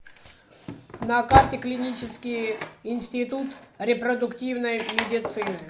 на карте клинический институт репродуктивной медицины